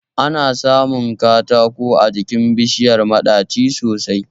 Ana samun katako a jikin bishiyar maɗaci sosai